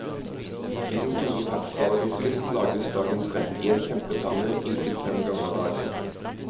I den store ferskvaredisken lages dagens rett i en kjempepanne inntil fem ganger daglig.